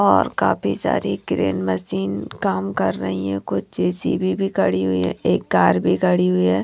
और काफी सारी ग्रीन मशीन काम कर रही है कुछ जे_सी_बी भी खड़ी हुई है एक कार भी खड़ी हुई है।